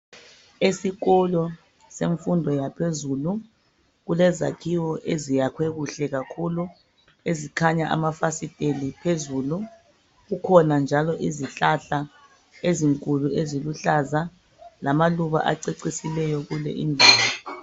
Esikolo semfundo yaphezulu kulezakhiwo eziyakhwe kuhle kakhulu ezikhanya amafasiteli phezulu. Kukhona njalo izihlahla ezinkulu eziluhlaza lamaluba acecisileyo kule indawo.